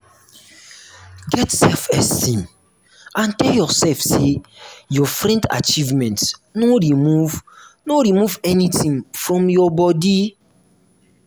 get self esteem and tell yourself say your friend achievement no remove no remove anything from your bodi